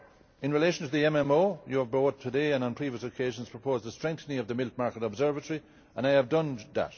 yours. In relation to the MMO, your vote today and on previous occasions proposed a strengthening of the Milk Market Observatory, and I have done